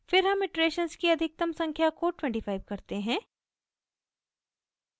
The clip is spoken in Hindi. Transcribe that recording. फिर हम इटरेशन्स की अधिकतम संख्या को 25 करते हैं